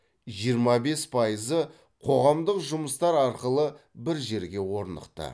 жиырма бес пайызы қоғамдық жұмыстар арқылы бір жерге орнықты